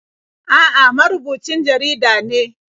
A'a, marubucin jarida ne.